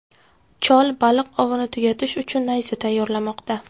Chol baliq ovini tugatish uchun nayza tayyorlamoqda.